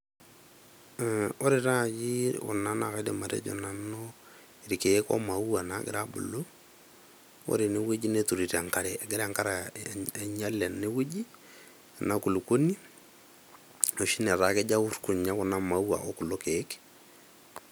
Mh, ore naji kuna naa kaidim atejo irkieek ogira abulu, ore ene wueji neturito enkare . Egira enkare ainyial ene wueji , ena kulukuoni enoshi netaa keur kuna maua okulo kiek.